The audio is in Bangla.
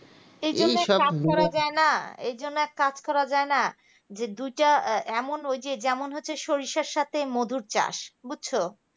এইজন্যে এক কাজ করা যায় না মানে এই জন্যে এক কাজ করা যায় না মানে দুইটা এমন যে যেমন হচ্ছে সরিষার সাথে মধুর চাষ বুঝছো